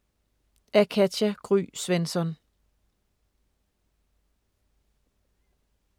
Af Katja Gry Svensson